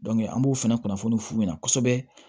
an b'o fɛnɛ kunnafoni f'u ɲɛna kosɛbɛ